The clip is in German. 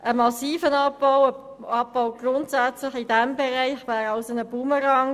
Ein massiver Abbau in diesem Bereich wäre also grundsätzlich ein Bumerang.